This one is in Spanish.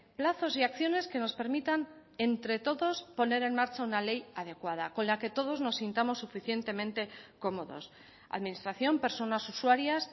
plazos y acciones que nos permitan entre todos poner en marcha una ley adecuada con la que todos nos sentimos suficientemente cómodos administración personas usuarias